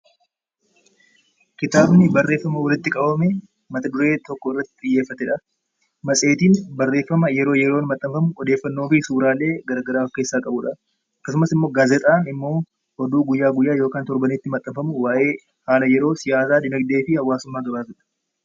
Kitaabni barreeffama walitti qabame, mata duree tokko irratti xiyyeeffatedha. Matseetiin barreeffama yeroo yeroon maxxanfamu odeeffannoo garaagaraa of keessaa qabudha. Akkasumas gaazexaan oduu guyyaa guyyaa kan torbaanitti maxxanfamu kan waa'ee haala yeroo, siyaasa, dinaagdee fi hawaasummaa gabaasudha.